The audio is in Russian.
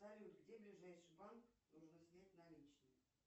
салют где ближайший банк нужно снять наличные